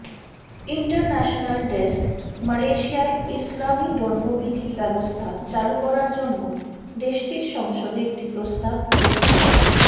international desk মালয়েশিয়ায় ইসলামি দণ্ডবিধি ব্যবস্থা চালু করার জন্য দেশটির সংসদে একটি প্রস্তাব উত্থ